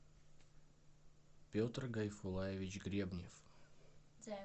петр гайфуллаевич гребнев